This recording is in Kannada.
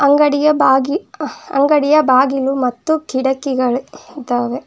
ಅಂಗಡಿಯ ಬಾಗಿ ಅ ಅಂಗಡಿಯ ಬಾಗಿಲು ಮತ್ತು ಕಿಡಕಿಗಳ್ ಇದ್ದಾವೆ.